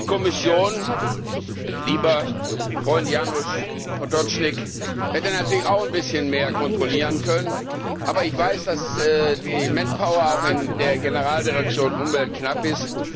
Die Kommission, lieber Freund Janez Potočnik, hätte natürlich auch ein bisschen mehr kontrollieren können. Aber ich weiß, dass die Manpower auch in der Generaldirektion Umwelt knapp